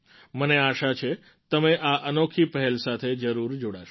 મને આશા છે તમે આ અનોખી પહેલ સાથે જરૂર જોડાશો